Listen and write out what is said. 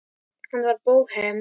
Hann var bóhem.